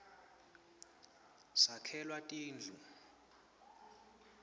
sakhelwa tindu